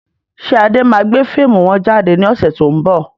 Ṣé Adé máa gbé fíìmù wọn jáde ní ọ̀sẹ̀ to ń bọ̀?